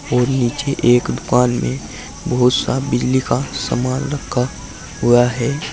और नीचे एक दुकान में बहुत सा बिजली का सामान रखा हुआ है।